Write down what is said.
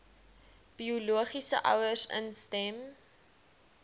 biologiese ouers instem